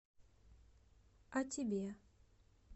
а тебе